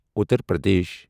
Uttar Pradesh